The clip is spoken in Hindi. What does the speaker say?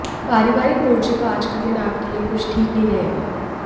पारिवारिक मोर्चे पर आज का दिन आपके लिए कुछ ठीक नहीं रहेगा